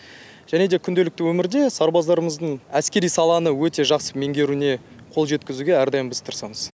және де күнделікті өмірде сарбаздарымыздың әскери саланы өте жақсы меңгеруіне қол жеткізуге әрдайым біз тырысамыз